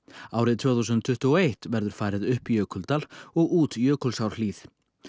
árið tvö þúsund tuttugu og eitt verður farið upp Jökuldal og út Jökulsárhlíð